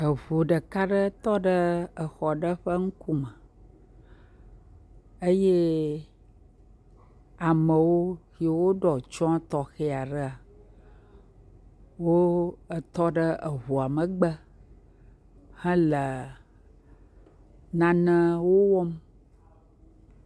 Eʋu ɖeka ɖe tɔɖe exɔɖe ƒe ŋkume eye amewo yiwo ɖɔtsiɔ tɔxeaɖea, wo etɔɖe eʋua megbe hele nanewo wɔm.